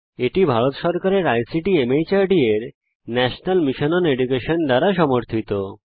এটি ভারত সরকারের আইসিটি মাহর্দ এর ন্যাশনাল মিশন ওন এডুকেশন দ্বারা সমর্থিত